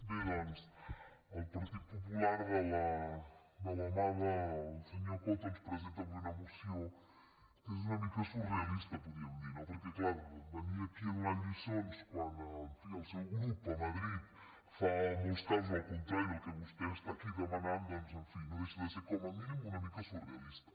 bé doncs el partit popular de la mà del senyor coto ens presenta avui una moció que és una mica surrealista podríem dir no perquè clar venir aquí a donar lliçons quan en fi el seu grup a madrid fa en molts casos el contrari del que vostè està aquí demanant doncs en fi no deixa de ser com a mínim una mica surrealista